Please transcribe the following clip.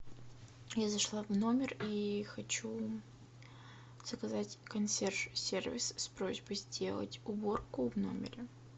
я зашла в номер и хочу заказать консьерж сервис с просьбой сделать уборку в номере